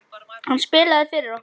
Hann spilaði fyrir okkur!